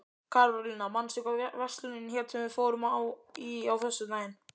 Karólína, manstu hvað verslunin hét sem við fórum í á föstudaginn?